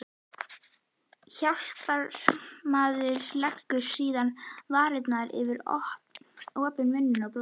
Hjálparmaðurinn legur síðan varirnar yfir opinn munninn og blæs.